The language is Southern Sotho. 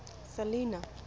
selinah